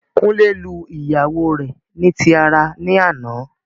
Kunle lu ìyàwó rẹ ni tí ara ní àná